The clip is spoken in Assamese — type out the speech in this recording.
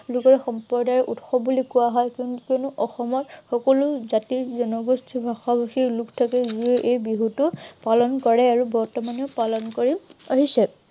সম্প্ৰদায়ৰে উৎসৱ বুলি কোৱা হয়। কিয়নো অসমৰ সকলো জাতি-জনগোষ্ঠী, ভাষা-ভাষী লোক থাকে, যিয়ে এই বিহুটো পালন কৰে আৰু বৰ্তমানেও পালন কৰি আহিছে।